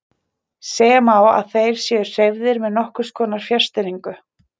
Segja má að þeir séu hreyfðir með nokkurs konar fjarstýringu.